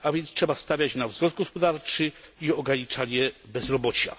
Trzeba więc stawiać na wzrost gospodarczy i ograniczanie bezrobocia.